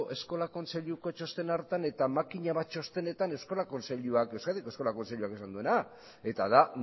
eskola kontseiluko txosten hartan eta makina bat txostenetan euskadiko eskola kontseiluak esan duena eta da